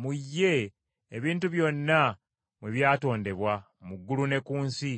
Mu ye ebintu byonna mwe byatondebwa mu ggulu ne ku nsi,